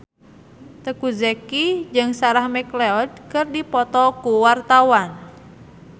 Teuku Zacky jeung Sarah McLeod keur dipoto ku wartawan